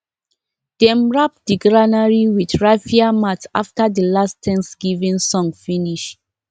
dem wrap the granary with raffia mat after the last thanksgiving song finish